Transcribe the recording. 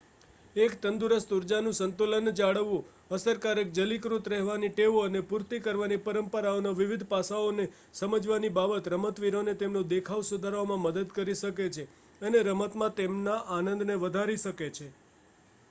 એક તંદુરસ્ત ઉર્જાનું સંતુલન જાળવવું અસરકારક જલીકૃત રહેવાની ટેવો અને પૂર્તિ કરવાની પરંપરાઓનાં વિવિધ પાસાઓને સમજવાની બાબત રમતવીરોને તેમનો દેખાવ સુધારવામાં મદદ કરી શકે છે અને રમતમાં તેમના આનંદને વધારી શકે છે